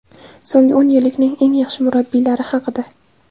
So‘nggi o‘n yillikning eng yaxshi murabbiylari haqida !